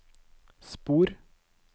spor